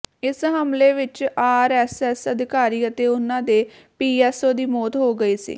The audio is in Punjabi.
ਇਸ ਹਮਲੇ ਵਿੱਚ ਆਰਐੱਸਐੱਸ ਅਧਿਕਾਰੀ ਅਤੇ ਉਨ੍ਹਾਂ ਦੇ ਪੀਐੱਸਓ ਦੀ ਮੌਤ ਹੋ ਗਈ ਸੀ